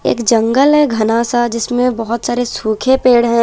एक जंगल है घना सा जिसमें बहुत सारे सूखे पेड़ है।